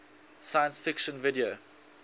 science fiction video